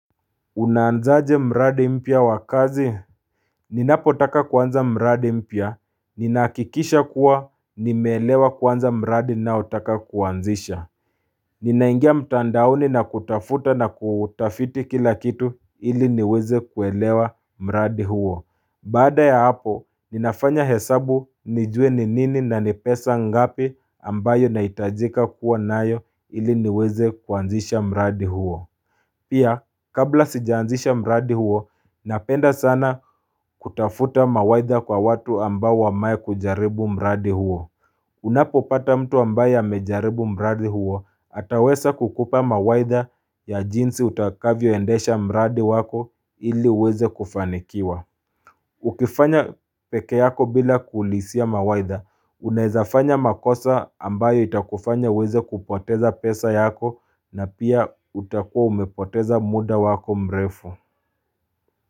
Unaanzaje mradi mpya wakazi Ninapo taka kuanza mradi mpya, ninahakikisha kuwa nimeelewa kwanza mradi ninao taka kuanzisha Ninaingia mtandaoni na kutafuta na kutafiti kila kitu ili niweze kuelewa mradi huo Baada ya hapo, ninafanya hesabu nijue ni nini na nipesa ngapi ambayo nahitajika kuwa nayo ili niweze kuanzisha mradi huo Pia kabla sijaanzisha mradi huo napenda sana kutafuta mawaidha kwa watu ambao wamae kujaribu mradi huo Unapo pata mtu ambayo ya mejaribu mradi huo atawesa kukupa mawaidha ya jinsi utakavyo endesha mradi wako ili uweze kufanikiwa Ukifanya pekee yako bila kuulisia mawaidha, unawezafanya makosa ambayo itakufanya uweze kupoteza pesa yako na pia utakua umepoteza muda wako mrefu.